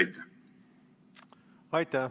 Aitäh!